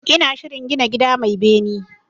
Ina shirin gina gida mai bene